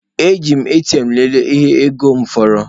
Eji m ATM lelee ihe ego m fọrọ.